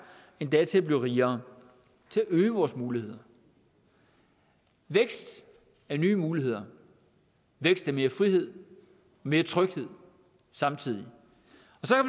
endda til at blive rigere til at øge vores muligheder vækst er nye muligheder vækst er mere frihed mere tryghed samtidig